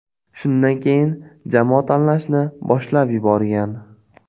Shundan keyin jamoa tanlashni boshlab yuborgan.